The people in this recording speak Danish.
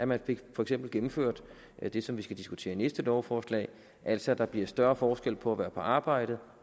man fik for eksempel gennemført det som vi skal diskutere næste lovforslag altså at der bliver større forskel på at være på arbejde